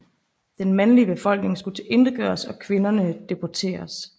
Den mandlige befolkning skulle tilintetgøres og kvinderne deporteres